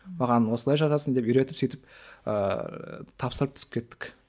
маған осылай жазасың деп үйретіп сөйтіп ыыы тапсырып түсіп кеттік